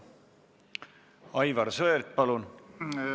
Aivar Sõerd, palun!